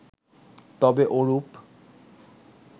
তবে ওরূপ